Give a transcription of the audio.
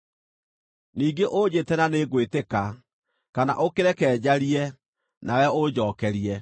Ningĩ ũnjĩte na nĩngwĩtĩka, kana ũkĩreke njarie, nawe ũnjookerie.